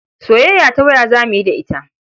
Soyayya ta waya za mu yi da ita.